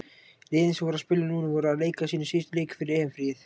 Liðin sem voru að spila núna voru að leika sína síðustu leiki fyrir EM-fríið.